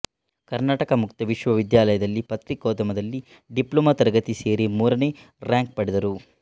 ಕರ್ನಾಟಕ ಮುಕ್ತ ವಿಶ್ವವಿದ್ಯಾಲಯದಲ್ಲಿ ಪತ್ರಿಕೋದ್ಯಮದಲ್ಲಿ ಡಿಪ್ಲೊಮೊ ತರಗತಿಗೆ ಸೇರಿ ಮೂರನೇ ರಾಂಕ್ ಪಡೆದರು